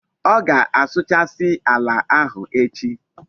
O ga-asuchasi ala ahu echi